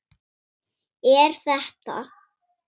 Er þetta.?